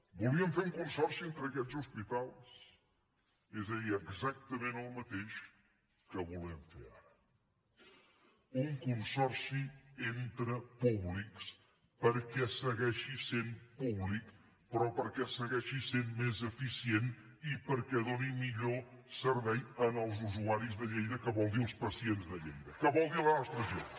volien fer un consorci entre aquests hospitals és a dir exactament el mateix que volem fer ara un consorci entre públics perquè segueixi sent públic però perquè segueixi sent més eficient i perquè doni millor servei als usuaris de lleida que vol dir als pacients de lleida que vol dir a la nostra gent